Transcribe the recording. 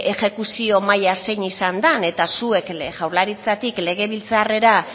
exekuzio maila zein izan den eta zuek jaurlaritzatik legebiltzarrera